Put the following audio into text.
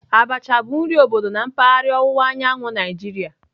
Abacha bụ nri obodo na mpaghara ọwụwa anyanwụ Naijiria